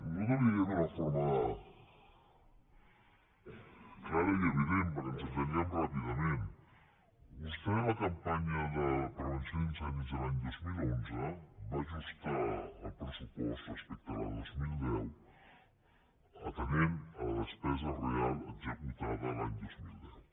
nosaltres li direm d’una forma clara i evident perquè ens entenguem ràpidament vostè a la campanya de prevenció d’incendis de l’any dos mil onze va ajustar el pressupost respecte a la del dos mil deu atenent a la despesa real executada l’any dos mil deu